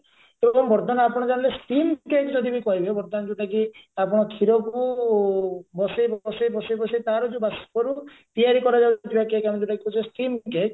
ତେଣୁକରି ବର୍ତମାନ ଆପଣ ଜାଣିଲେ steam cake ଯଦି ବି କହିବେ ବର୍ତମାନ ଯଉଟାକି ଆପଣ କ୍ଷୀରକୁ ବସେଇ ବସେଇ ବସେଇ ବସେଇ ତାର ଯଉ ବାଷ୍ପରୁ ତିଆରି କରାଯାଉଥିବା cake ଆମେ ଯଉଟାକି କହୁଛେ steam cake